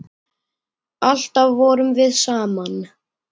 Alltaf vorum við saman.